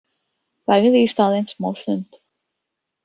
Þagði í staðinn smástund.